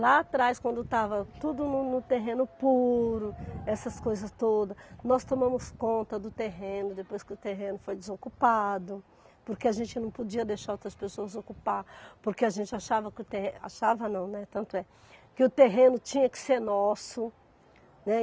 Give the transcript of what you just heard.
Lá atrás, quando estava tudo no no terreno puro, essas coisas todas, nós tomamos conta do terreno, depois que o terreno foi desocupado, porque a gente não podia deixar outras pessoas ocuparem, porque a gente achava que o terre, achava não, né, tanto é que o terreno tinha que ser nosso, né.